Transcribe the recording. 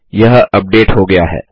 यह अपडेट हो गया है